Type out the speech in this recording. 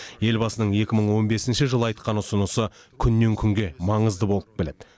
елбасының екі мың он бесінші жылы айтқан ұсынысы күннен күнге маңызды болып келеді